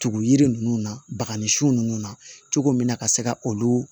Tugu yiri ninnu na bakanisu nunnu na cogo min na ka se ka olu